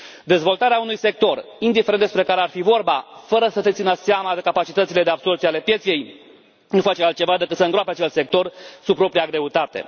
Dezvoltarea unui sector, indiferent despre care ar fi vorba, fără să se țină seama de capacitățile de absorbție ale pieței nu face altceva decât să îngroape acel sector sub propria greutate.